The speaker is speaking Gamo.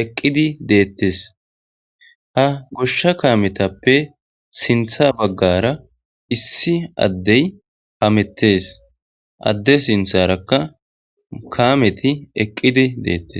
eqqidi deettes ha goshsha kaametappe sintha baggara issi addey hamettes adde sintharakka kaameti eqqidi deettes